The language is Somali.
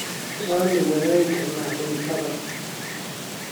Waanu wadaagi karnaa cuntada.